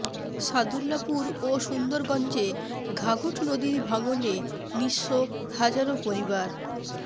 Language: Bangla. সাদুল্যাপুর ও সুন্দরগঞ্জে ঘাঘট নদীর ভাঙনে নিঃস্ব হাজারো পরিবার